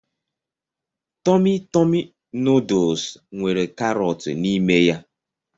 Tọmi Tọmi nuduls nwere karọt n'ime ya.